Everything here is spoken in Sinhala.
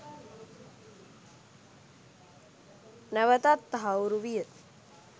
නැවතත් තහවුරු විය